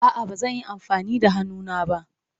A'a, ba zan yi amfani da hannuna ba.